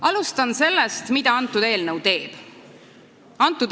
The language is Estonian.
Alustan sellest, mida antud eelnõu teeb.